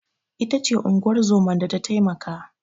Ita ce unguwar zoman da ta taimaka.